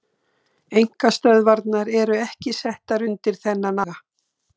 Einkastöðvarnar eru ekki settar undir þennan aga.